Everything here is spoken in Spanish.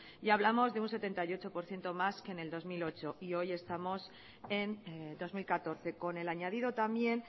y hablamos de un setenta y ocho por ciento más que en el dos mil ocho y hoy estamos en dos mil catorce con el añadido también